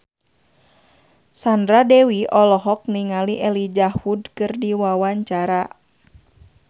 Sandra Dewi olohok ningali Elijah Wood keur diwawancara